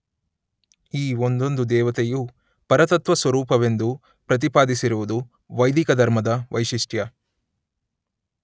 ಈ ಒಂದೊಂದು ದೇವತೆಯೂ ಪರತತ್ತ್ವ ಸ್ವರೂಪವೆಂದು ಪ್ರತಿಪಾದಿಸಿರುವುದು ವೈದಿಕ ಧರ್ಮದ ವೈಶಿಷ್ಟ್ಯ.